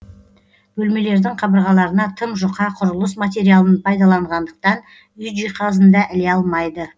бөлмелердің қабырғаларына тым жұқа құрылыс материалын пайдаланғандықтан үй жиһазын да іле алмайды